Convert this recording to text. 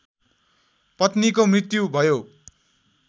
पत्नीको मृत्यु भयो